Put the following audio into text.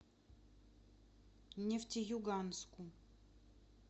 нефтеюганску